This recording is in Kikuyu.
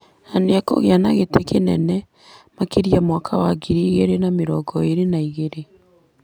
na nĩ ekũgĩa na gĩtĩ kĩnene makĩria mwaka wa ngiri igĩrĩ na mĩrongo ĩrĩ na igĩrĩ .